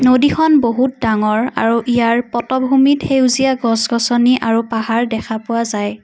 নদীখন বহুত ডাঙৰ আৰু ইয়াত পটভূমিত সেউজীয়া গছ-গছনি আৰু পাহাৰ দেখা পোৱা যায়।